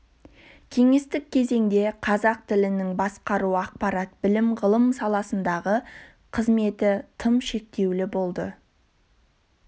кеңестік кезеңде қазақ тілінің басқару ақпарат білім-ғылым саласындағы қызметі тым шектеулі болды